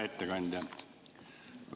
Hea ettekandja!